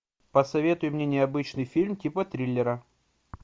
посоветуй мне необычный фильм типа триллера